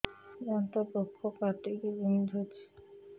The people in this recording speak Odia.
ଦାନ୍ତ ପୋକ କାଟିକି ବିନ୍ଧୁଛି